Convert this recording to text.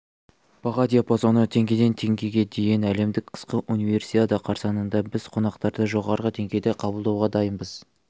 баға диапазоны теңгеден теңгеге дейін әлемдік қысқы универсиада қарсаңында біз қонақтарды жоғары деңгейде қабылдауға дайынбыз